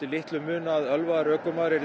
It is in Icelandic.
muna að ölvaður ökumaður ylli